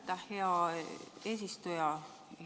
Aitäh, hea eesistuja!